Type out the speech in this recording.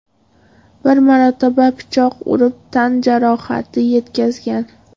bir marotaba pichoq urib tan-jarohati yetkazgan.